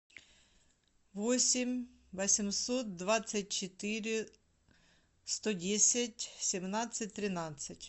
восемь восемьсот двадцать четыре сто десять семнадцать тринадцать